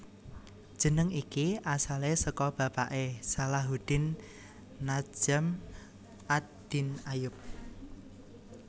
Jeneng iki asalé saka bapaké Salahuddin Najm ad Din Ayyub